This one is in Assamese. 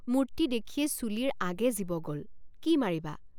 মুৰ্তি দেখিয়েই চুলিৰ আগে জীৱ গল কি মাৰিবা!